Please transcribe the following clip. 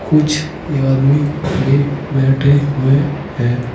कुछ आदमी भी बैठे हुए हैं।